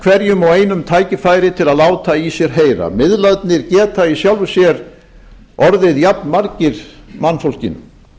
hverjum og einum tækifæri til að láta í sér heyra miðlarnir geta í sjálfu sér orðið jafnmargir mannfólkinu